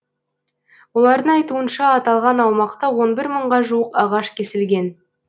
олардың айтуынша аталған аумақта он бір мыңға жуық ағаш кесілген